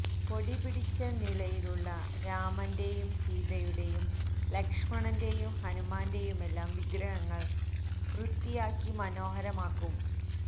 പൊടി പിടിച്ച നിലയിലുള്ള രാമന്റെയും സീതയുടെയും ലക്ഷമണന്റെയും ഹനുമാന്റെയുമെല്ലാം വിഗ്രഹങ്ങള് വൃത്തിയാക്കി മനോഹരമാക്കും